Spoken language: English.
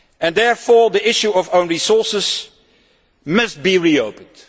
Therefore, the issue of own resources must be reopened